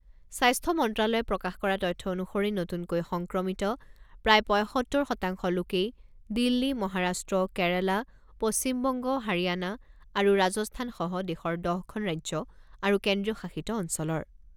স্বাস্থ্য মন্ত্ৰালয়ে প্ৰকাশ কৰা তথ্য অনুসৰি নতুনকৈ সংক্ৰমিত প্ৰায় পঁইসত্তৰ শতাংশ লোকেই দিল্লী, মহাৰাষ্ট্ৰ, কেৰালা, পশ্চিম বংগ, হাৰিয়ানা আৰু ৰাজস্থানসহ দেশৰ ১০ খন ৰাজ্য আৰু কেন্দ্ৰীয় শাসিত অঞ্চলৰ।